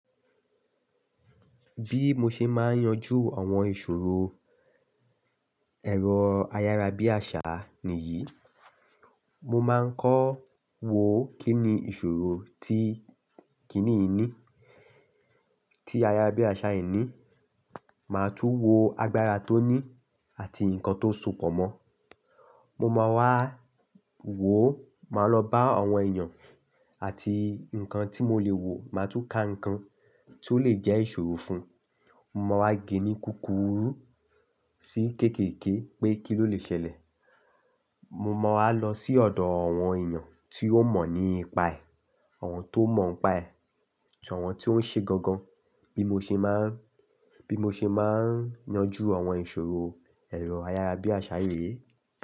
Bí mo ṣe máa ń yanjú àwọn ìṣòro ẹ̀rọ ayárabíàṣá nìyí. Mo máa ń kọ́ wo kín ni ìṣòro tí kiní yìí ní, tí ayárabíàṣá yìí ní. Màá tún wo agbára tó ní àti nǹkan tó sọ̀pọ̀ mọ́. Mo máa wá wo, màá lọ bá àwọn èèyàn àti nǹkan tí mo lè wo, màá tún ka nǹkan tí ó lè jẹ́ ìṣòro fún. Mo máa wá ge nì kúkúrú sí kéékèèké pé kí ló lè ṣẹlẹ̀. Mo máa wá lọ sí ọ̀dọ̀ àwọn èèyàn tí ó mọ̀ nípa ẹ̀, àwọn tó mọ̀ nípa ẹ̀ ati àwọn tí ó ń ṣe gangan bí mo ṣe máa ń, bí mo ṣe máa ń yanjú àwọn ìṣòro ẹ̀rọ ayárabíàṣá yìí.